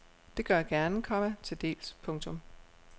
Det gør jeg gerne, komma tildels. punktum